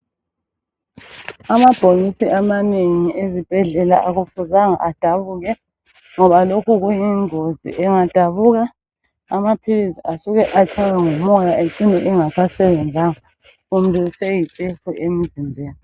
Amabhokisi amanengi ezibhedlela akufuzanga adabuke. Ngoba lokhu kuyingozi engadabuka amaphilisi asuka atshaywe ngumoya ecine engasasbenzanga kumbe esiyitshefu emzimbeni.